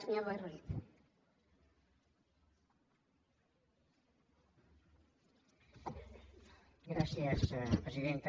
gràcies presidenta